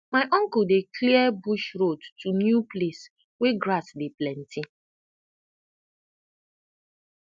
my uncle dey clear bush road to new place wey grass dey plenty